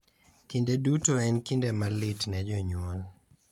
Kinde duto en kinde malit ne jonyuol